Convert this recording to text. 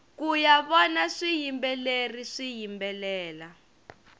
kuya vona swiyimbeleri swiyimbelela